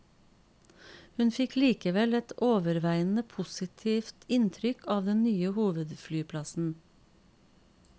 Hun fikk likevel et overveiende positivt inntrykk av den nye hovedflyplassen.